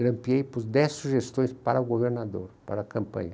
Grampiei por dez sugestões para o governador, para a campanha.